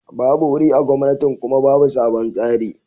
babu wuri a gomnatin Kuma babu sabon tsari.